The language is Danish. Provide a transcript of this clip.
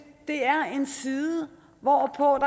det er en side hvorpå